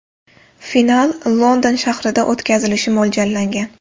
Final London shahrida o‘tkazilishi mo‘ljallangan.